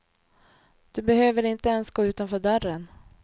Du behöver inte ens gå utanför dörren.